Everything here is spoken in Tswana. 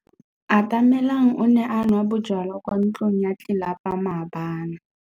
Atamelang o ne a nwa bojwala kwa ntlong ya tlelapa maobane.